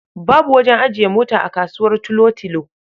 Babu wajen ajiye mota a kasuwar Tulotilo.